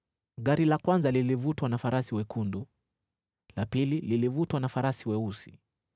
Gari la kwanza lilivutwa na farasi wekundu, la pili lilivutwa na farasi weusi,